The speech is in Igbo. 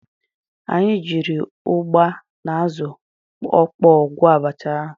Anyị jiiri ụgba na azụ ọkpọọ gwọọ abacha ahụ.